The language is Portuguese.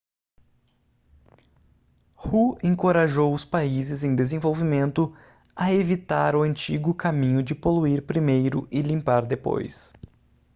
hu encorajou os países em desenvolvimento a evitar o antigo caminho de poluir primeiro e limpar depois